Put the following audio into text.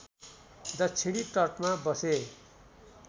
दक्षिणी तटमा बसे